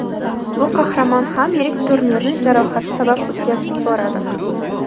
Bu qahramon ham yirik turnirni jarohati sabab o‘tkazib yuboradi.